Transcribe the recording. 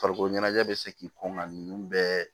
Farikolo ɲɛnajɛ bɛ se k'i kɔngɔn bɛɛ